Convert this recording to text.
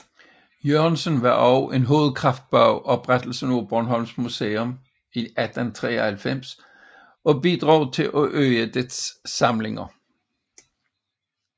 Jørgensen var også en hovedkraft bag oprettelsen af Bornholms Museum i 1893 og bidrog til at øge dets samlinger